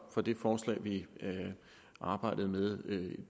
fra det forslag vi arbejdede med